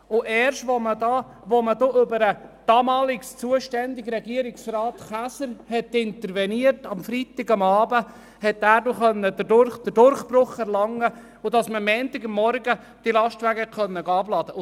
Erst als man über den damals zuständigen Regierungsrat Käser am Freitagabend intervenierte, konnte dieser die Bewilligung erwirken, sodass man am folgenden Montagmorgen die Lastwagen am Bahnhof entladen konnte.